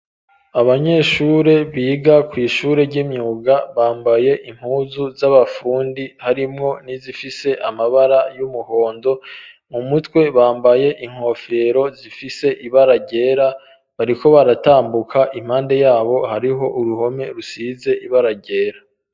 Abanyeshure biga ku ishure ry'imyuga bambaye impuzu z'abafundi harimwo nizifise amabara y'umuhondo mu mutwe bambaye inkofero zifise ibara ryera bariko baratambuka impande yabo hariho uruhome rusize ibara ryera.